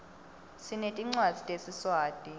sinetincwadzi tesiswati